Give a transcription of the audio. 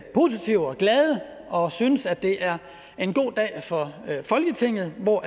positive og glade og synes at det er en god dag for folketinget hvor